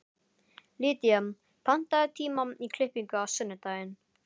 Lýdía, pantaðu tíma í klippingu á sunnudaginn.